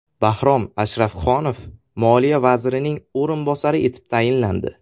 Bahrom Ashrafxonov Moliya vazirining o‘rinbosari etib tayinlandi.